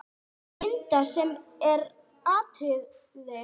Linda: Sem er aðalatriðið?